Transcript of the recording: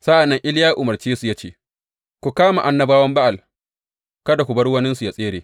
Sa’an nan Iliya ya umarce su, ya ce, Ku kama annabawan Ba’al, kada ku bar waninsu yă tsere!